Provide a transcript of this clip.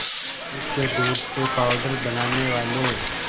भैंस के दूध से पावडर बनाने वाले